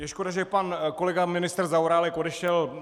Je škoda, že pan kolega ministr Zaorálek odešel.